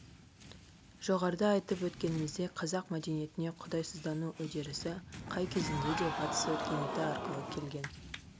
жоғарыда айтып өткеніміздей қазақ мәдениетіне құдайсыздану үдерісі қай кезеңде де батыс өркениеті арқылы келген